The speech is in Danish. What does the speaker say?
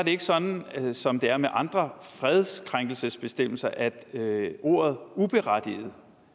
ikke sådan som det er med andre fredskrænkelsesbestemmelser at ordet uberettiget